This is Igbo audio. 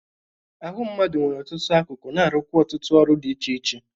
Ahụ mmadụ nwere ọtụtụ akụkụ na-arụkwa ọtụtụ ọrụ dị iche iche.